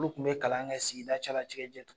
Olu kun be kalan kɛ sigida cɛla ci kɛ jɛ